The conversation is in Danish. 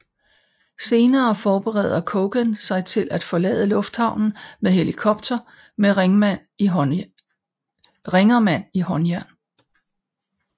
Senere forbereder Coogan sig på at forlade lufthavnen med helikopter med Ringerman i håndjern